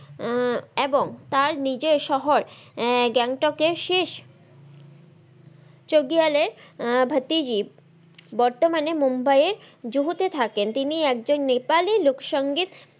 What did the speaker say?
আহ এবং তার নিজের শহর আহ গ্যাংটকের শেষ সবিয়ালের ভাতিজি বর্তমানে মুম্বাই এর জুহুতে থাকেন তিনি একজন নেপালি লোক সঙ্গীত,